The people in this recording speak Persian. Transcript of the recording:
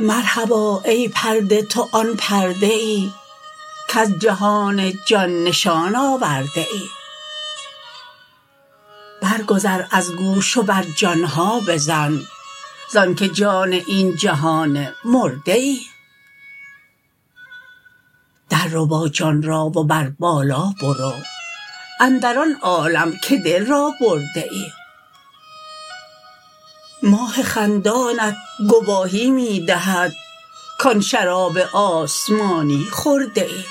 مرحبا ای پرده تو آن پرده ای کز جهان جان نشان آورده ای برگذر از گوش و بر جان ها بزن ز آنک جان این جهان مرده ای درربا جان را و بر بالا برو اندر آن عالم که دل را برده ای ماه خندانت گواهی می دهد کان شراب آسمانی خورده ای